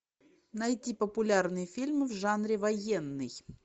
найти популярные фильмы в жанре военный